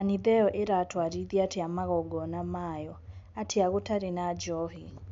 Kanitha iyo iratwarithia atia 'magongona' mayo atia gutarĩ na njohi?